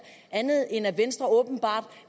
andet end at venstre åbenbart